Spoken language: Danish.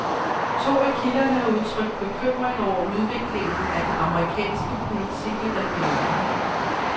To af kilderne har udtrykt bekymring over udviklingen af den amerikanske politik i regionen.